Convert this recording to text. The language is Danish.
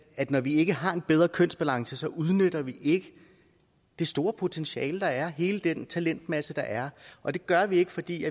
at når vi ikke har en bedre kønsbalance udnytter vi ikke det store potentiale der er hele den talentmasse der er og det gør vi ikke fordi